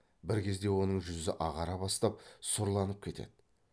бір кезде оның жүзі ағара бастап сұрланып кетеді